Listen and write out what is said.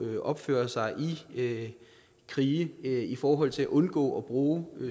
opføre sig i krige i forhold til at undgå bruge